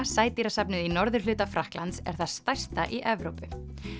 sædýrasafnið í norðurhluta Frakklands er það stærsta í Evrópu